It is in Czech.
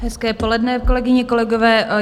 Hezké poledne, kolegyně, kolegové.